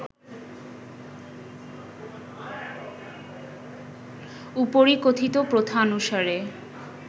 উপরিকথিত প্রথানুসারে